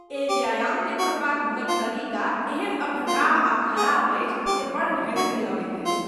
एहि व्यायामकेँ करबाक हुनक तरीका एहेन अवढङ्गाह आ खराब अछि जे बड़ घृणित लगैत अछि।